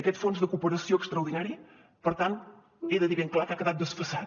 aquest fons de cooperació extraordinari per tant he de dir ben clar que ha quedat desfasat